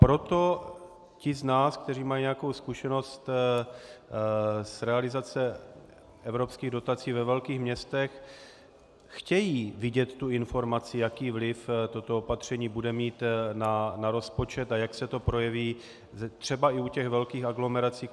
Proto ti z nás, kteří mají nějakou zkušenost z realizace evropských dotací ve velkých městech, chtějí vidět tu informaci, jaký vliv toto opatření bude mít na rozpočet a jak se to projeví třeba i u těch velkých aglomerací.